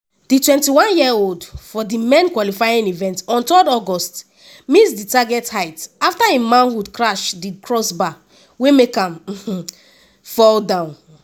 di 21-year-old for di men’s qualifying event on 3 august miss di target height afta im manhood crash di crossbar wey make am fall down.